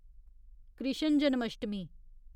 Krishna Janmashtami